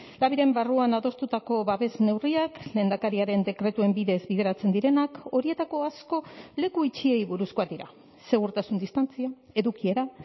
labiren barruan adostutako babes neurriak lehendakariaren dekretuen bidez bideratzen direnak horietako asko leku itxiei buruzkoak dira segurtasun distantzia edukiera